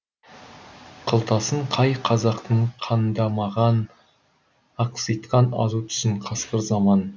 қылтасын қай қазақтың қандамаған ақситқан азу тісін қасқыр заман